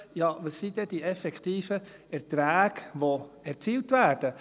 Ja, was sind denn die Erträge, die effektiv erzielt werden?